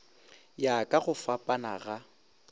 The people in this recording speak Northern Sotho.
ya ka go fapana ga